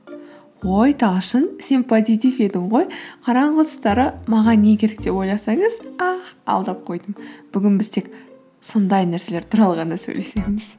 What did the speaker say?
ой талшын сен позитив едің ғой қараңғы тұстары маған не керек деп ойласаңыз ах алдап қойдым бүгін біз тек сондай нәрселер туралы ғана сөйлесеміз